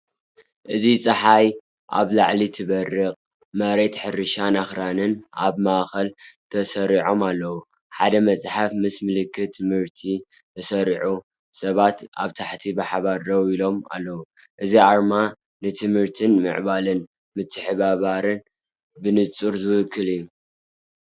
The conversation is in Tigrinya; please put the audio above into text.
እዚ ጸሓይ ኣብ ላዕሊ ትበርቕ፣ መሬት ሕርሻን ኣኽራንን ኣብ ማእከል ተሰሪዖም ኣለዉ። ሓደ መጽሓፍ ምስ ምልክት ትምህርቲ ተሰሪዑ፡ ሰባት ኣብ ታሕቲ ብሓባር ደው ኢሎም ኣለው። እዚ ኣርማ ንትምህርትን ምዕባለን ምትሕብባርን ብንጹር ዝውክል እዩ።